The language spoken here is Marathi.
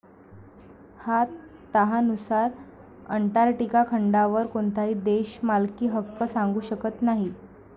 या तहानुसार, अंटार्क्टिका खंडावर कोणताही देश मालकीहक्क सांगू शकत नाही.